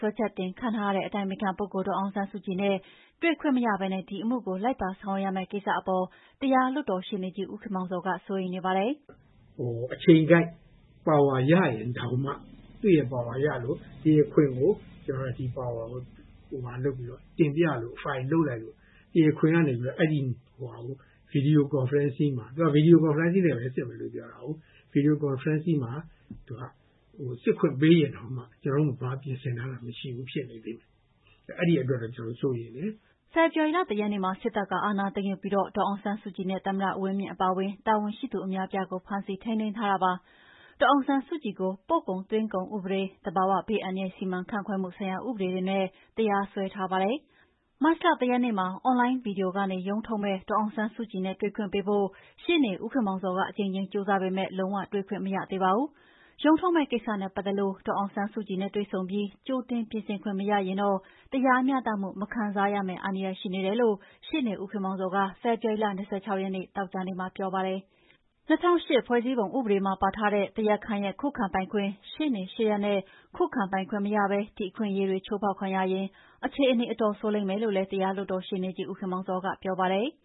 ွဲချက်တင်ခံထားရတဲ့ အတိုင်ပင်ခံပုဂ္ဂိုလ်ဒေါ်အောင်ဆန်းစုကြည်နဲ့ တွေ့ခွင့်မရဘဲ ဒီအမှုကို လိုက်ပါဆောင်ရွက်ရမယ့် ကိစ္စအပေါ် တရားလွှတ်တော်ရှေ့နေကြီး ဦးခင်မောင်ဇော်က စိုးရိမ်နေပါတယ်။ "အချိန်ကိုက်ပါဝါရရင်တောင်မှ သူရဲ့ပါဝါရလို့ တရားခွင်ကို ကျနော်တို့က ဒီပါဝါကို တင်ပြလို့ ဖိုင်လုပ်လိုက်လို့ တရားခွင်ကနေပြီးတော့ ဗွီဒီယို ကွန်ဖရင့်နဲ့ စစ်မယ်ပြောတာကို။ ဗွီဒီယိုကွန်ဖရင်မှာ စစ်ခွင့်ပေးရင်တောင်မှ ကျနော်တို့မှာ ဘာပြင်ဆင်ထားတာမှမရှိဘူးဖြစ်နေတယ်။ အဲဒီအတွက်တော့ ကျနော်တို့စိုးရိမ်တယ်။" ဖေဖော်ဝါရီလ ၁ ရက်နေ့မှာ စစ်တပ်က အာဏာသိမ်းယူပြီး ဒေါ်အောင်ဆန်းစုကြည်နဲ့ သမ္မတဦးဝင်းမြင့်အပါအဝင် တာဝန်ရှိသူ အများအပြားကို ဖမ်းဆီးထိန်းသိမ်းထားတာပါ။ ဒေါ်အောင်ဆန်းစုကြည်ကို ပို့ကုန်သွင်းကုန်ဥပဒေ၊ သဘာဝဘေးအန္တရာယ် စီမံခန့်ခွဲမှုဆိုင်ရာဥပဒေတွေနဲ့ တရားစွဲထားပါတယ်။ မတ်လ ၁ ရက်နေ့မှာ အွန်လိုင်း Video Conferencing ကနေ ရုံးထုတ်မယ့် ဒေါ်အောင်ဆန်းစုကြည်နဲ့ တွေ့ခွင့်ပေးဖို့ ရှေ့နေဦးခင်မောင်ဇော်ကအကြိမ်ကြိမ်ကြိုးစားပေမယ့် လုံးဝတွေ့ခွင့်မရသေးပါဘူး။ ရုံးထုတ်မယ့်ကိစ္စနဲ့ပတ်သက်လို့ ဒေါ်အောင်ဆန်းစုကြည်နဲ့တွေ့ဆုံပြီး ကြိုတင်ပြင်ဆင်ခွင့်မရရင်တော့ တရားမျှတမှုမခံစားရမယ့် အန္တရာယ်ရှိနေတယ်လို့ ရှေ့နေ ဦးခင်မောင်ဇော်က ဖေဖော်ဝါရီလ ၂၆ ရက်၊ သောကြာနေ့မှာပြောပါတယ်။ ၂၀၀၈ ဖွဲ့စည်းပုံဥပဒေမှာ ပါထားတဲ့ တရားခံရဲ့ခုခံပိုင်ခွင့်၊ ရှေ့နေရှေ့ရပ်နဲ့ ခုခံပိုင်ခွင့်မရဘဲ ဒီအခွင့်အရေးတွေချိုးဖောက်ခံရရင် အခြေအနေ အတော်ဆိုးလိမ့်မယ်လို့လည်း တရားလွှတ်တော်ရှေ့နေကြီး ဦးခင်မောင်ဇော်ကပြောပါတယ်။